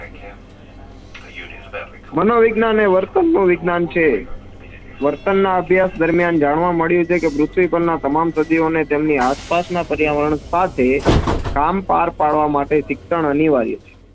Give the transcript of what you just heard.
મનો વિજ્ઞાન એ વર્તન નું વિજ્ઞાન છે. વર્તન ના અભ્યાસ દરમિયાન જાણવા મળ્યું છે કે પૃથ્વી પર ના તમામ સજીવો ને તેમની આશપાસ ના પર્યાવરણ સાથે કામ પાર પાડવા માટે શિક્ષણ અનિવાર્ય છે.